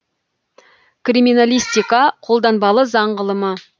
криминалистика қолданбалы заң ғылымы